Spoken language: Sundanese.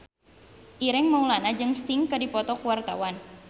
Ireng Maulana jeung Sting keur dipoto ku wartawan